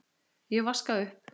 Ég vaska upp.